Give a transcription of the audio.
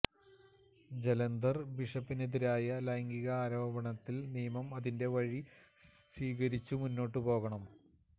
ജലന്ധര് ബിഷപ്പിനെതിരായ ലൈംഗിക ആരോപണത്തില് നിയമം അതിന്റെ വഴി സ്വീകരിച്ചു മുന്നോട്ടു പോകണം